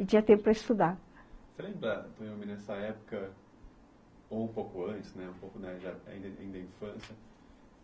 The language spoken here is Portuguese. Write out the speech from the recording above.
E tinha tempo para estudar. Você lembra também nessa época ou um pouco antes, né, um pouco ainda na infância